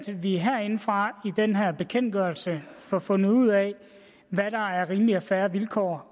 vi herindefra i den her bekendtgørelse får fundet ud af hvad der er rimelige og fair vilkår